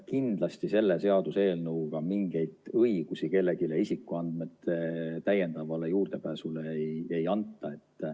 Kindlasti selle seaduseelnõuga kellelegi mingeid täiendavaid õigusi isikuandmetele juurdepääsu jaoks ei anta.